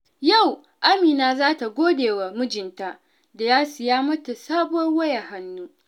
Yau, Amina za ta gode wa mijinta da ya siya mata sabuwar wayar hannu.